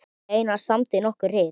Einar samdi nokkur rit